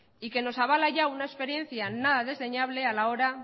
y que nos avala ya una experiencia nada desdeñable a la hora